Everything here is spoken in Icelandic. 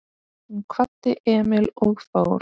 Hún kvaddi Emil og fór.